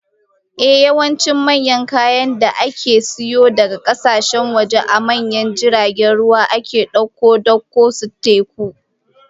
Ehh, yawancin manyan kayan da aka sayo daga kasashen waje, a manyan jiragen ruwa ake dauko dakon su ta teku